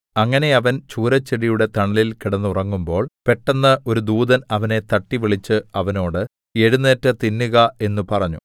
അങ്ങനെ അവൻ ചൂരച്ചെടിയുടെ തണലിൽ കിടന്നുറങ്ങുമ്പോൾ പെട്ടെന്ന് ഒരു ദൂതൻ അവനെ തട്ടി വിളിച്ച് അവനോട് എഴുന്നേറ്റ് തിന്നുക എന്ന് പറഞ്ഞു